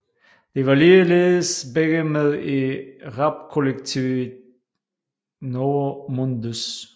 De var ligeledes begge med i rapkollektivet Novo Mundus